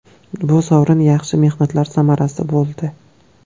Bu sovrin yaxshi mehnatlar samarasi bo‘ldi.